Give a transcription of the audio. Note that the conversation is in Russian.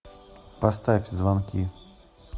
поставь звонки